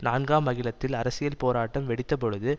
நான்காம் அகிலத்தில் அரசியல் போராட்டம் வெடித்த பொழுது